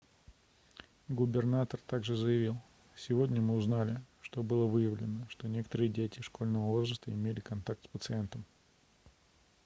губернатор так же заявил сегодня мы узнали что было выявлено что некоторые дети школьного возраста имели контакт с пациентом